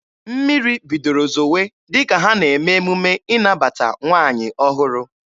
Mmiri bidoro zowe dịka ha na-eme emume ịnabata nwaanyị ọhụrụ.